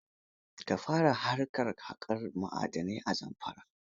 Ka fara harkar kaƙar ma'adanai a Zamfara.